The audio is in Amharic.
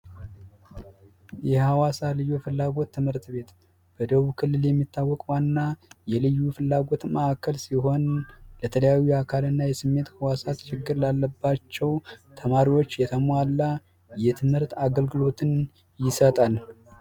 የሀዋሳ ልዩ ፍላጎት ትምህርት ቤት በደቡብ ክልል የሚታወቀው ዋና የልዩ ፍላጎት ማዕከል ሲሆን ለተለያዩ እና የስሜት ህዋሳት ችግር ላለባቸው ተማሪዎች የተሟላ የትምህርት አገልግሎትን ይሰጣል።